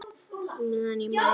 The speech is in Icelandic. Meðan ég man!